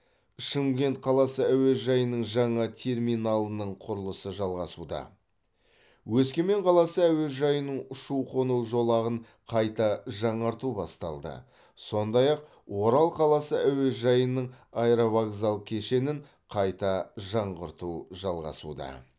шымкент қаласы әуежайының жаңа терминалының құрылысы жалғасуда өскемен қаласы әуежайының ұшу қону жолағын қайта жаңарту басталды сондай ақ орал қаласы әуежайының аэровокзал кешенін қайта жаңғырту жалғасуда